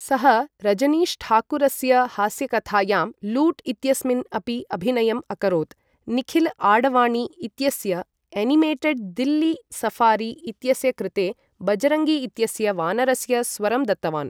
सः रजनीशठाकुरस्य हास्यकथायां लूट् इत्यस्मिन् अपि अभिनयम् अकरोत्, निखिल आडवाणी इत्यस्य एनिमेटेड् दिल्ली सफारी इत्यस्य कृते बजरङ्गी इत्यस्य वानरस्य स्वरं दत्तवान् ।